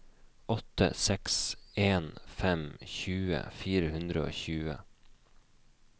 åtte seks en fem tjue fire hundre og tjue